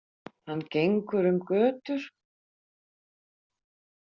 Hann gengur um götur.